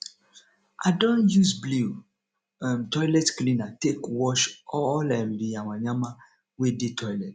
i dey use blew um toilet cleaner take wash all um di yama yama wey dey toilet